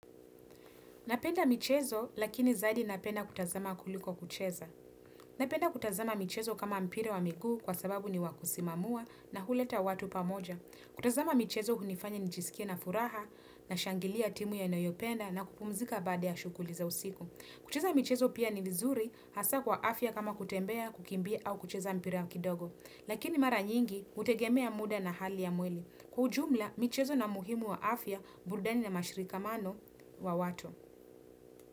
Napenda michezo lakini zaidi napenda kutazama kuliko kucheza. Napenda kutazama michezo kama mpiravwa miguu kwa sababu ni wakusimamua na huleta watu pamoja. Kutazama michezo hunifanya njisikie na furaha nashangilia timu ya inayopenda na kupumzika bade ya shukuli za usiku. Kucheza michezo pia ni vizuri hasa kwa afya kama kutembea kukimbia au kucheza mpira ya kidogo. Lakini mara nyingi, hutegemea muda na hali ya mwili. Kwa ujumla, michezo na muhimu wa afya, burudani na mashirikamano wa watu.